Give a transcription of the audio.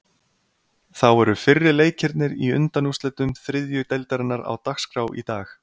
Þá eru fyrri leikirnir í undanúrslitum þriðju deildarinnar á dagskrá í dag.